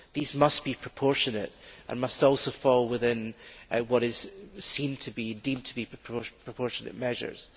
These must be proportionate and must also fall within what is deemed to be proportionate measures.